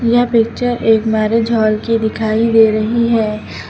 यह पिक्चर एक marriage hall की दिखाई दे रही है।